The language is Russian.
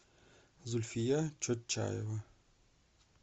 зульфия чотчаева